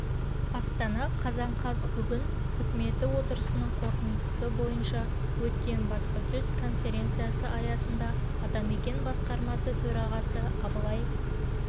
астана қазан қаз бүгін үкіметі отырысының қорытындысы бойынша өткен баспасөз конференциясы аясында атамекен басқарма төрағасы абылай